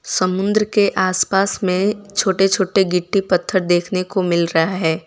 समुंद्र के आसपास में छोटे छोटे गिट्टी पत्तर देखने को मिल रहा है।